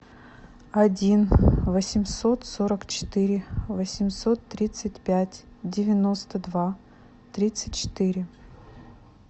один восемьсот сорок четыре восемьсот тридцать пять девяносто два тридцать четыре